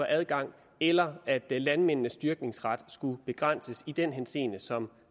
adgang eller at landmændenes dyrkningsret skulle begrænses i den henseende som